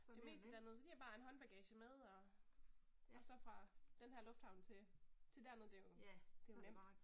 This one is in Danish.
Det meste dernede, så de har bare en håndbagage med og og så fra denne her lufthavn til, til derned det er jo, det er jo nemt